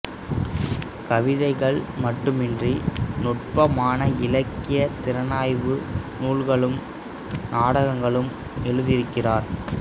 கவிதைகள் மட்டுமன்றி நுட்பமான இலக்கியத் திறனாய்வு நூல்களும் நாடகங்களும் எழுதியிருக்கிறார்